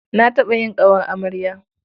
Na taɓa yin ƙawar amarya.